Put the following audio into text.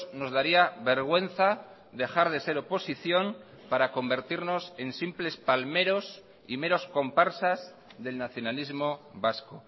nos daría vergüenza dejar de ser oposición para convertirnos en simples palmeros y meros comparsas del nacionalismo vasco